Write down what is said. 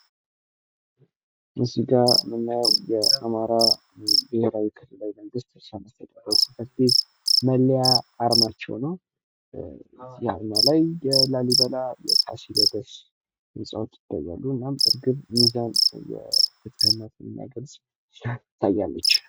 እዚጋ የምናየው የአማራ ብሄራዊ ክልላዊ መንግስት መስተዳድር ጽሕፈት ቤት መለያ አርማቸው ነው ፤ በአርማው ላይ የላሊበላ፣ የፋሲለደስ ህንጻዎች ይታያሉ ፤ እና እርግብ፣ ሚዛን የፍትህነትን የሚገልጽ ይታያሉ።